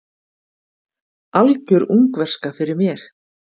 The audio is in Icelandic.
Algjör ungverska fyrir mér.